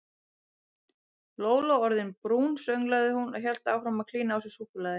Lóló orðin brún sönglaði hún og hélt áfram að klína á sig súkkulaði.